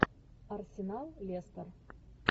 арсенал лестор